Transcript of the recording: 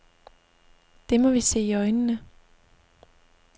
Det må vi se i øjnene.